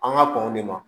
An ka kɔn de ma